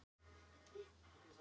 Miðhúsavegi